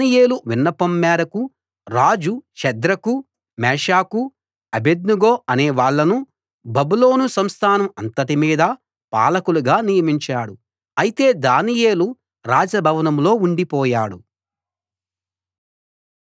దానియేలు విన్నపం మేరకు రాజు షద్రకు మేషాకు అబేద్నెగో అనేవాళ్ళను బబులోను సంస్థానం అంతటి మీదా పాలకులుగా నియమించాడు అయితే దానియేలు రాజ భవనంలో ఉండిపోయాడు